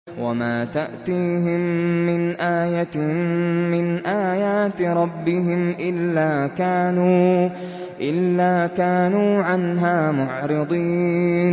وَمَا تَأْتِيهِم مِّنْ آيَةٍ مِّنْ آيَاتِ رَبِّهِمْ إِلَّا كَانُوا عَنْهَا مُعْرِضِينَ